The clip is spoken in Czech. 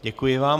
Děkuji vám.